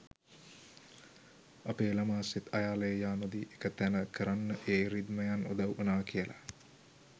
අපේ ළමා සිත් අයාලේ යානොදී එක තැන කරන්න ඒ රිද්මයන් උදව් වුනා කියල